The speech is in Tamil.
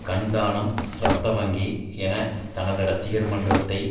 கண் தானம் ரத்த வங்கி என தனது ரசிகர் மன்றத்தை